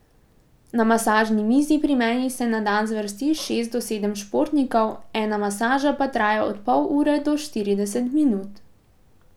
Na masažni mizi pri meni se na dan zvrsti šest do sedem športnikov, ena masaža pa traja od pol ure do štirideset minut.